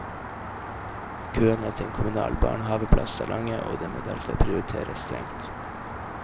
Køene til en kommunal barnehaveplass er lange, og det må derfor prioriteres strengt.